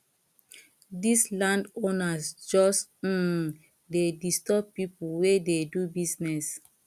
dese landowners just um dey disturb pipo wey dey do business